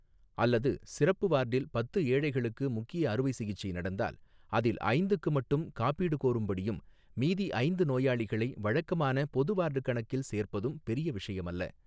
அல்லது சிறப்பு வார்டில் பத்து ஏழைகளுக்கு முக்கிய அறுவை சிகிச்சை நடந்தால் அதில் ஐந்துக்கு மட்டும் காப்பீடு கோரும்படியும் மீதி ஐந்து நோயாளிகளை வழக்கமான பொது வார்டு கணக்கில் சேர்ப்பதும் பெரிய விஷயமல்ல.